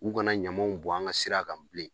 U kana ɲamaw bɔn an ga sira kan bilen.